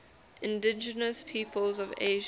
indigenous peoples of asia